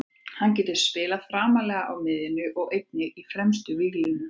Hann getur spilað framarlega á miðjunni og einnig í fremstu víglínu.